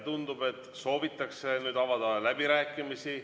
Tundub, et soovitakse avada läbirääkimisi.